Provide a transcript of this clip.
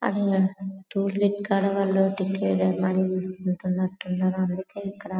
ఆది అంటూ toll gate కదా వాళ్ళు టిక్కెట్ ఆడిగి మోనీ తీసుకుంటున్నారు అందుకే ఇక్కడ --